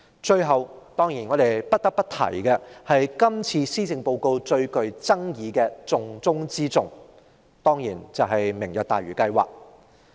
最後，我們不得不提今次施政報告中最具爭議的"重中之重"，也就是"明日大嶼"計劃。